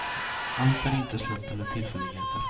Allt är inte slump eller tillfälligheter.